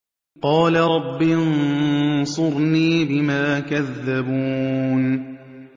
قَالَ رَبِّ انصُرْنِي بِمَا كَذَّبُونِ